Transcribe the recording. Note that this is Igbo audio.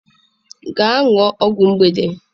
Gaa ṅụọ ọgwụ mgbede.